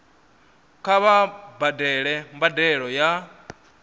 kha vha badele mbadelo ya